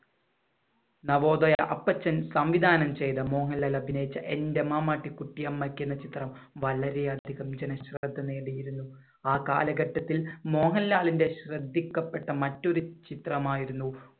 നവോദയ അപ്പച്ചൻ സംവിധാനം ചെയ്ത മോഹൻലാൽ അഭിനയിച്ച എന്‍റെ മാമാട്ടിക്കുട്ടി അമ്മയ്ക്ക് എന്ന ചിത്രം വളരെയധികം ജനശ്രദ്ധ നേടിയിരുന്നു. ആ കാലഘട്ടത്തിൽ മോഹൻലാലിന്‍റെ ശ്രദ്ധിക്കപ്പെട്ട മറ്റൊരു ചിത്രമായിരുന്നു